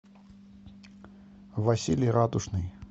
василий радужный